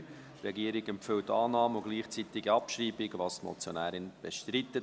Die Regierung empfiehlt Annahme und gleichzeitige Abschreibung, was die Motionärin bestreitet.